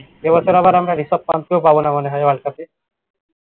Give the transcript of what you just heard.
এ বছর আমরা রিসাব পানকেও পাব না মনে হয় world cup এ